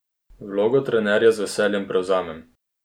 Vlogo trenerja z veseljem prevzamem.